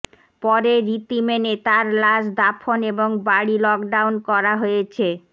পরে রীতি মেনে তার লাশ দাফন এবং বাড়ি লকডাউন করা হয়েছে